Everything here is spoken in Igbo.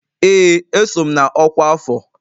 Ee, eso m na ọkwa afọ